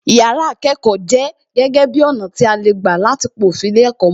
Yàrá ìkẹ́kọ̀ọ jẹ́ gege bi ọ̀nà tí a lè gbà láti pa òfin ilé ẹ̀kọ́ mó